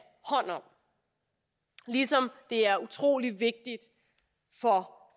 hånd om ligesom det er utrolig vigtigt